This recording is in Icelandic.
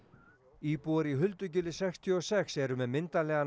íbúar í sextíu og sex eru með myndarlegan